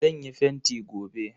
Zan yi fenti gobe.